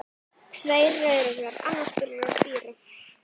Tveir rauðlaukar, annar byrjaður að spíra.